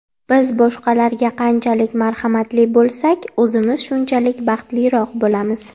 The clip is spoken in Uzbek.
Biz boshqalarga qanchalik marhamatli bo‘lsak, o‘zimiz shunchalik baxtliroq bo‘lamiz.